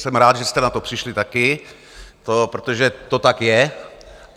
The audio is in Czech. Jsem rád, že jste na to přišli také, protože to tak je.